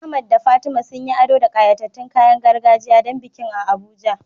Ahmad da Fatima sun yi ado da ƙayatattun kayan gargajiya don bikin a Abuja.